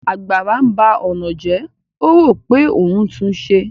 Àgbàrá ńba ọ̀nà jẹ́, ó rò pé òun ńtún un ṣe